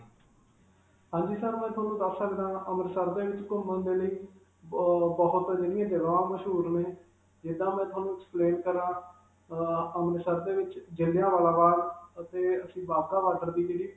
ਹਾਂਜੀ sir, ਮੈਂ ਤੁਹਾਨੂੰ ਦਸ ਸਕਦਾ ਹਾਂ. ਅੰਮ੍ਰਿਤਸਰ ਦੇ ਵਿਚ ਘੁਮਣ ਦੇ ਲਈ ਬਬ ਅਅ ਬਹੁਤ ਜਗ੍ਹਾਂ ਮਸ਼ਹੂਰ ਨੇ, ਜਿੱਦਾਂ ਮੈਂ ਤੁਹਾਨੂੰ explain ਕਰਾਂ, ਅਅ ਅੰਮ੍ਰਿਤਸਰ ਦੇ ਵਿਚ ਜਲਿਆਂਵਾਲਾ ਬਾਗ ਅਤੇ ਅਸੀਂ ਵਾਗਾ ਬੋਰਡਰ ਦੀ ਜਿਹੜੀ.